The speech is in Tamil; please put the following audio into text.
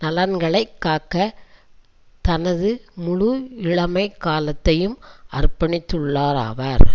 நலன்களை காக்க தனது முழு இளமைக் காலத்தையும் அர்பணித்துள்ளாராவர்